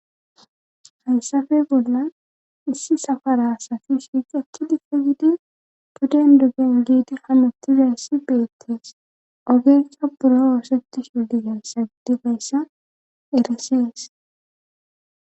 Hayssafe bolla issi safara safishi ekki dife gidi tuden duggen giidi hamutizayssi beettees ogeesa buro oosetti shu diyas sa gidi bayssa erisees.